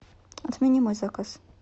отмени мой заказ